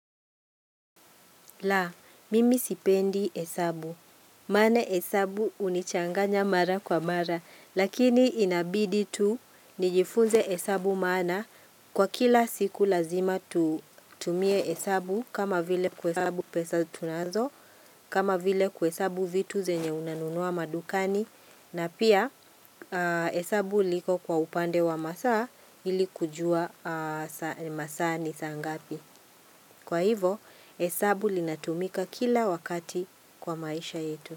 La, mimi sipendi hesabu. Maana hesabu hunichanganya mara kwa mara. Lakini inabidi tu, nijifunze hesabu maana. Kwa kila siku lazima tutumie hesabu. Kama vile kuhesabu pesa tunazo. Kama vile kuhesabu vitu zenye unanunua madukani. Na pia hesabu liko kwa upande wa masaa ili kujua saa masaa ni saa ngapi. Kwa hivo, hesabu linatumika kila wakati kwa maisha yetu.